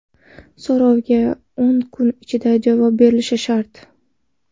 So‘rovga o‘n kun ichida javob berilishi shart.